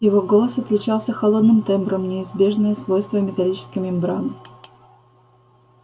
его голос отличался холодным тембром неизбежное свойство металлической мембраны